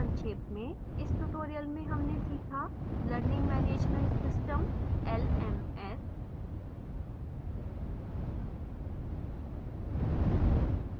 संक्षेप में